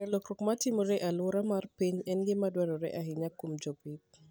Ng'eyo lokruok matimore e alwora mar piny en gima dwarore ahinya kuom jopith.